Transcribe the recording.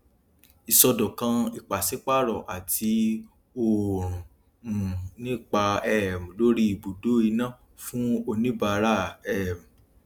ìṣọdọkan ìpàsípààrọ àti òòrùn um ní ipa um lórí ibùdó iná fún oníbàárà um